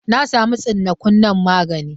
Na sama tsinnaku nan magani.